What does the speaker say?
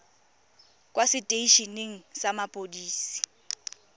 kwa setei eneng sa mapodisi